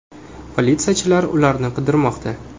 Politsiyachilar ularni qidirmoqda.